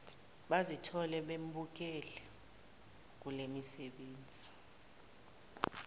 bazithole bembuleleke kulemisebe